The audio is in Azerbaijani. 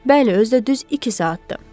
Bəli, özü də düz iki saatdır.